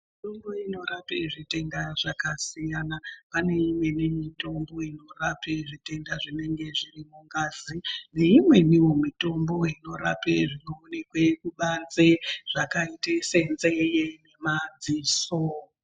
Mitombo inorape zvitenda yakasiyana. Pane imweni mitombo inorape zvitenda zvinenge zviri mungazi neimweniwo mitombo inorape zvinoonekwe kubanze zvakaite senzee, madziso.